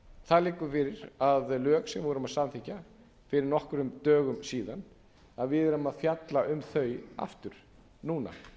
það liggur fyrir að lög sem við vorum að samþykkja fyrir nokkrum dögum síðan að við erum að fjalla um þau aftur núna